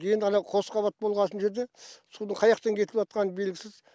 енді ана қос қабат болғасын мына жерде судың қаяқтан кетіватқаны белгісіз